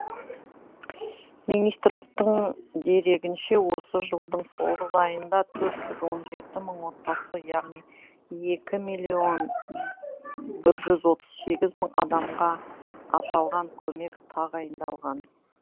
министрліктің дерегінше осы жылдың тоғыз айында төрт жүз он жеті мың отбасы яғни екі миллион жүз отыз сегіз мың адамға аталған көмек тағайындалған